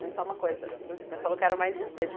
Mas só uma coisa, o senhor falou que era mais distante.